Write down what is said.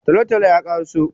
Talotalo yakoresu